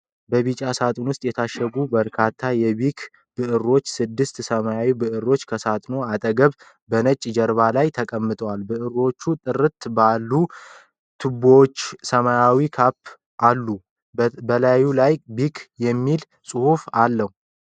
በቢጫ ሳጥን ውስጥ የታሸጉ በርካታ የቢክ ብዕሮችና ስድስት ሰማያዊ ብዕሮች ከሳጥኑ አጠገብ በነጭ ጀርባ ላይ ተቀምጠዋል። ብዕሮቹ ጥርት ባሉ ቱቦዎችና ሰማያዊ ካፖች አሉ፣ በላዩ ላይ ቢክ የሚል ጽሑፍ አለ።